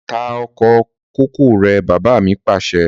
Ta oko kòkó rẹ̀! Bàbá mi Pàṣẹ.